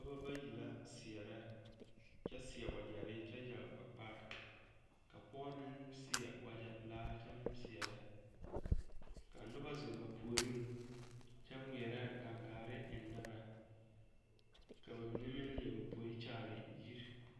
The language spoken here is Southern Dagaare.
Dɔba bayi la seɛrɛ kyɛ seɛ wagyɛre kyɛ yage ba kpare ka pɔge meŋ seɛ wagyɛpelaa kyɛ meŋ seɛrɛ ka noba zeŋ ba puoriŋ kyɛ ŋmeɛrɛ gangaare eŋnɛ ba ka ba mine meŋ leɛ ba poe kyaare yiri.